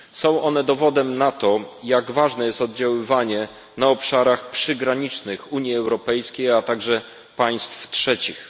Są one dowodem na to, jak ważne jest oddziaływanie na obszarach przygranicznych Unii Europejskiej, a także państw trzecich.